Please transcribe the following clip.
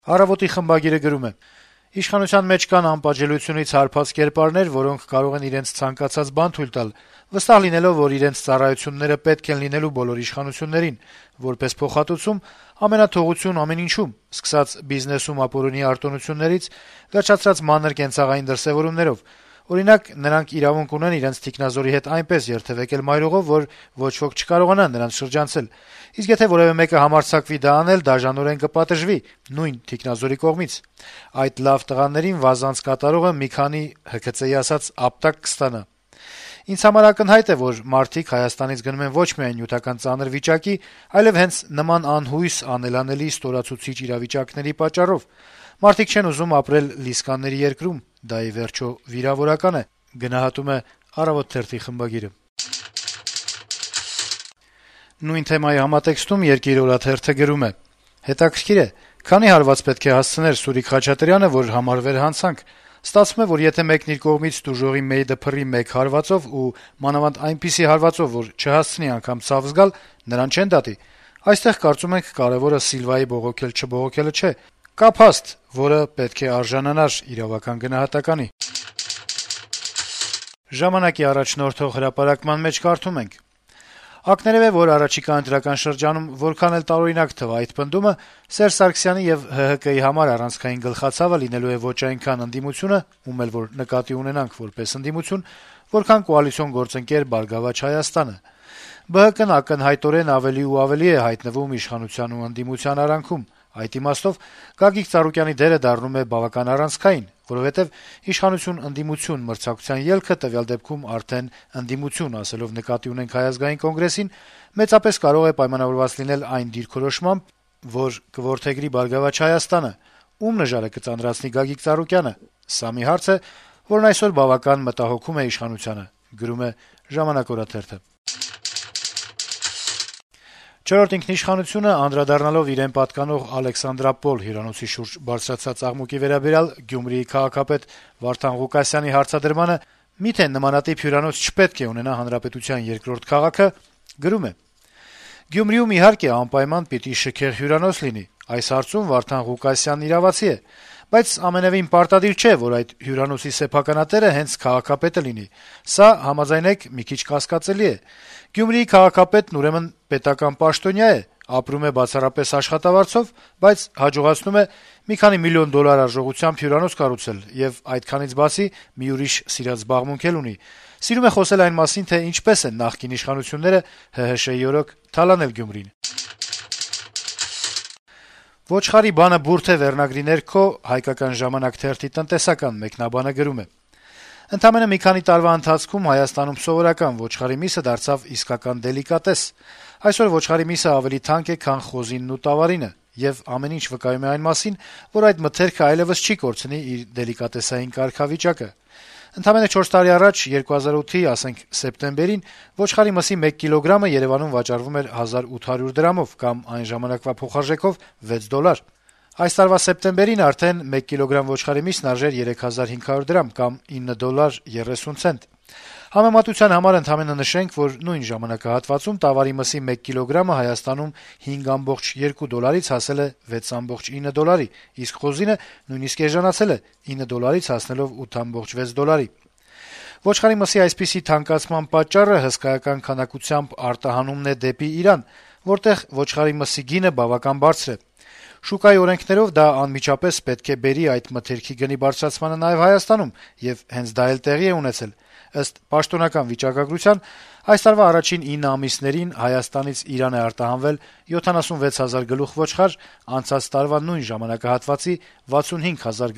«Առավոտ»-ի խմբագիրը գրում է. - «Իշխանության մեջ կան անպատժելիությունից հարբած կերպարներ, որոնք կարող են իրենց ցանկացած բան թույլ տալ՝ վստահ լինելով, որ իրենց «ծառայությունները» պետք են լինելու բոլոր իշխանություններին: Որպես փոխհատուցում՝ ամենաթողություն ամեն ինչում՝ սկսած բիզնեսում ապօրինի արտոնություններից, վերջացրած մանր կենցաղային դրսեւորումներով: Օրինակ՝ նրանք իրավունք ունեն իրենց թիկնազորի հետ այնպես երթեւեկել մայրուղով, որ ոչ ոք չկարողանա նրանց շրջանցել, իսկ եթե որեւէ մեկը համարձակվի դա անել, դաժանորեն կպատժվի՝ նույն թիկնազորի կողմից: Այդ «լավ տղաներին» վազանց կատարողը մի քանի, ՀՔԾ-ի ասած, «ապտակ» կստանա: Ինձ համար ակնհայտ է, որ մարդիկ Հայաստանից գնում են ոչ միայն նյութական ծանր վիճակի, այլեւ հենց նման անհույս, անելանելի, ստորացուցիչ իրավիճակների պատճառով: Մարդիկ չեն ուզում ապրել լիսկաների երկրում՝ դա, ի վերջո, վիրավորական է»: Նույն թեմայի համատեքստում «Երկիր» օրաթերթը գրում է. - «Հետաքրքիր է` քանի՞ հարված պետք է հասցներ Սուրիկ Խաչատրյանը, որ համարվեր հանցանք: Ստացվում է, եթե մեկն իր կողմից տուժողի «մեյդը փռի» մեկ հարվածով, ու մանավանդ այնպիսի հարվածով, որ չհասցնի անգամ ցավ զգալ, նրան չեն դատի: Այստեղ, կարծում ենք, կարեւորը Սիլվայի բողոքել-չբողոքելը չէ. կա փաստ, որը պետք է արժանանար իրավական գնահատականի»: «Ժամանակ»-ի առաջնորդող հրապարակման մեջ կարդում ենք. - «Ակներեւ է, որ առաջիկա ընտրական շրջանում, որքան էլ տարօրինակ թվա այդ պնդումը, Սերժ Սարգսյանի եւ ՀՀԿ համար առանցքային «գլխացավը» լինելու ոչ այնքան ընդդիմությունը` ում էլ որ նկատի ունենանք որպես ընդդիմություն, որքան կոալիցիոն գործընկեր «Բարգավաճ Հայաստանը»: ԲՀԿ-ն ակնհայտորեն ավելի ու ավելի է հայտնվում իշխանության ու ընդդիմության արանքում: Այդ իմաստով Գագիկ Ծառուկյանի դերը դառնում է բավական առանցքային, որովհետեւ իշխանություն-ընդդիմություն մրցակցության ելքը, տվյալ դեպքում արդեն ընդդիմություն ասելով նկատի ունենք Հայ ազգային կոնգրեսին, մեծապես կարող է պայմանավորված լինել այն դիրքորոշմամբ, որ կորդեգրի «Բարգավաճ Հայաստանը»: Ո՞ւմ նժարը կծանրացնի Գագիկ Ծառուկյանը: Սա մի հարց է, որն այսօր բավական մտահոգում է իշխանությանը»: «Չորրորդ ինքնիշխանություն»-ը, անդրադառնալով իրեն պատկանող «Ալեքսանդրապոլ» հյուրանոցի շուրջ բարձրացած աղմուկի վերաբերյալ Գյումրիի քաղաքապետ Վարդան Ղուկասյանի հարցադրմանը` «մի՞թե նմանատիպ հյուրանոց չպետք է ունենա հանրապետության երկրորդ քաղաքը», գրում է. - «Գյումրիում, իհարկե, անպայման պիտի շքեղ հյուրանոց լինի. այս հարցում Վարդան Ղուկասյանն իրավացի է: Բայց ամենեւին պարտադիր չէ, որ այդ հյուրանոցի սեփականատերը հենց քաղաքապետը լինի: Սա, համաձայնեք, մի քիչ կասկածելի է: Գյումրիի քաղաքապետը, ուրեմն, պետական պաշտոնյա է, ապրում է բացառապես աշխատավարձով, բայց հաջողացնում է մի քանի միլիոն դոլար արժողությամբ հյուրանոց կառուցել եւ, այդքանից բացի, մի ուրիշ սիրած զբաղմունք էլ ունի. սիրում է խոսել այն մասին, թե ինչպես են նախկին իշխանությունները «ՀՀՇ-ի օրոք» թալանել Գյումրին»: «Ոչխարի բանը բուրդ է» վերնագրի ներքո «Հայկական ժամանակ» թերթի տնտեսական մեկնաբանը գրում է. - «Ընդամենը մի քանի տարվա ընթացքում Հայաստանում սովորական ոչխարի միսը դարձավ իսկական դելիկատես: Այսօր ոչխարի միսը ավելի թանկ է, քան խոզինն ու տավարինը: Եվ ամեն ինչ վկայում է այն մասին, որ այդ մթերքը այլեւս չի կորցնի իր դելիկատեսային կարգավիճակը: Ընդամենը չորս տարի առաջ` 2008-ի, ասենք, սեպտեմբերին ոչխարի մսի մեկ կիլոգրամը Երեւանում վաճառվում էր 1800 դրամով կամ այն ժամանակվա փոխարժեքով` 6 դոլար: Այս տարվա սեպտեմբերին արդեն մեկ կիլոգրամ ոչխարի միսն արժեր 3500 դրամ կամ 9 դոլար 30 ցենտ: Համեմատության համար ընդամենը նշենք, որ նույն ժամանակահատվածում տավարի մսի մեկ կիլոգրամը Հայաստանում 5.2 դոլարից հասել է 6.9 դոլարի, իսկ խոզինը նույնիսկ էժանացել է` 9 դոլարից հասնելով 8.6 դոլարի: Ոչխարի մսի այսպիսի թանկացման պատճառը հայտնի է թերեւս բոլորին` հսկայական քանակությամբ արտահանվում է դեպի Իրան, որտեղ ոչխարի մսի գինը բավականին բարձր է: Շուկայի օրենքներով` դա անմիջապես պետք է բերի այդ մթերքի գնի բարձրացմանը նաեւ Հայաստանում, եւ հենց դա էլ տեղի է ունեցել: Ըստ պաշտոնական վիճակագրության, այս տարվա առաջին 9 ամիսներին Հայաստանից Իրան է արտահանվել 76 հազար գլուխ ոչխար, անցած տարվա նույն ժամանակահատվածի 65 հազար